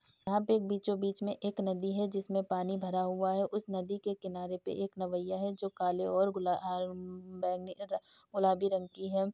यहाँ पे एक बीचों-बीच में एक नदी है। जिसमें पानी भरा हुआ है। उस नदी के किनारे पे एक नवेया है जो काले और गुला बैंग ह गुलाबी रंग की है।